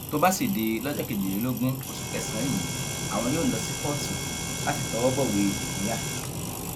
tó bá sì di lọjọ kejìlélógún oṣù kẹsànán yìí àwọn yóò lọ sí kóòtù láti tọwọ bọwé ìpínyà